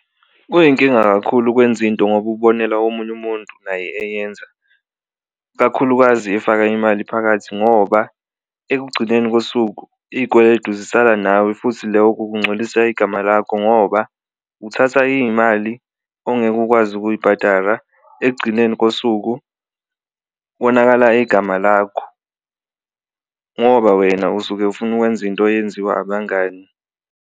Kuyinkinga kakhulu ukwenza into ngoba ubonela komunye umuntu naye eyenza kakhulukazi efaka imali phakathi ngoba ekugcineni kosuku izikweletu zisala nawe, futhi loku kuncolisa igama lakho ngoba uthatha iy'mali ongeke ukwazi ukuyibhadara ekugcineni kosuku konakala igama lakho. Ngoba wena usuke ufuna ukwenza into eyenziwa abangani.